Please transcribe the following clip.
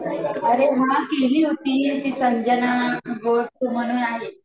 अरे हा केली होती ती संजना म्हणून आहे